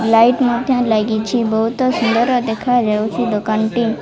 Light ମଧ୍ୟ ଲାଗିଛି ବହୁତ ସୁନ୍ଦର ଦେଖା ଯାଉଛି ଦୋକାନ ଟି।